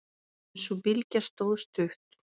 En sú bylgja stóð stutt.